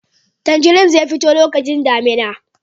Tanjari zai fito lokacin damina